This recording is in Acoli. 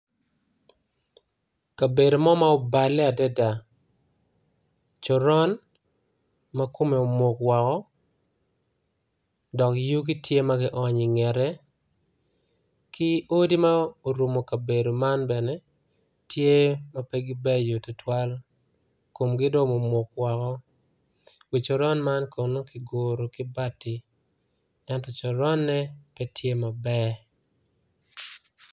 Kabedo mo ma obale adada coron ma kome omuk woko dok yugi tye magi onyo i ngete ki odi ma orumo kabedo man bene tye ma pegi beco tutwal komgi do omuk woko coron man kiguro ki bati ento coronne petye maber.